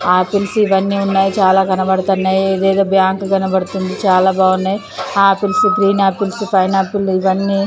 Apples ఇవన్నీ ఉన్నాయి. చాలా కనబడుతున్నాయి. ఇది ఏదో బ్యాంకు కనబడుతుంది. చాలా బాగున్నాయి. Apples green apples pineapples ఇవన్నీ--